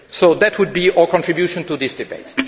So that would be our contribution to this debate.